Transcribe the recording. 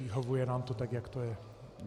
Vyhovuje nám to tak, jak to je.